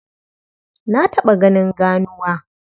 Na taɓa ganin ganuwa.